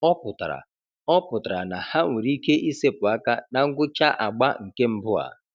Ọ pụtara Ọ pụtara na ha nwere ike ịsepụ aka na ngwụcha agba nke mbụ a.